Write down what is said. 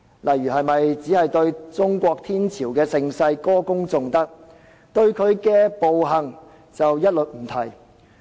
是否只對中國天朝的盛世歌功頌德，但對其暴行卻一律不提？